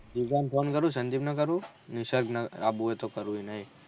જીગા ને ફોન કરીશ સંદીપ ને કરું નિસર્ગ ને આબુ હોય તો કરું